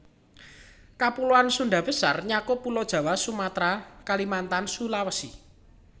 Kapuloan Sundha Besar nyakup Pulo Jawa Sumatra Kalimantan Sulawesi